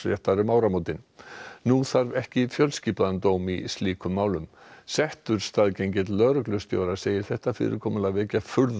nú þarf ekki fjölskipaðan dóm í slíkum málum settur staðgengill lögreglustjóra segir þetta fyrirkomulag vekja furðu margra